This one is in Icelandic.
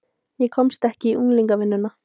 Ég komst ekki í unglingavinnuna.